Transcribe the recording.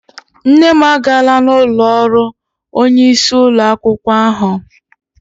Nne m agaala n'ụlọ ọrụ onyeisi ụlọ akwụkwọ ahụ.